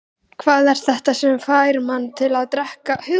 Hvað er þetta sem fær menn til að drekka stjórnlaust?